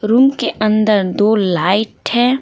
Room के अंदर दो लाइट है।